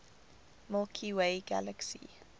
milky way galaxy